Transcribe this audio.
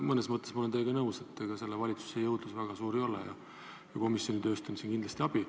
Mõnes mõttes olen ma teiega nõus, et ega selle valitsuse jõudlus väga suur ei ole ja komisjoni tööst on siin kindlasti abi.